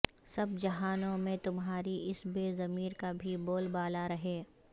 سب جہانوں میں تمہاری اس بے ضمیری کا بھی بول بالا رہے